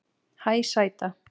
Hæ sæta